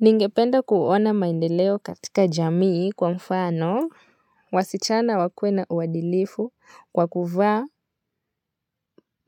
Ningependa kuona maendeleo katika jamii kwa mfano, wasichana wakuwe na uadilifu kwa kuvaa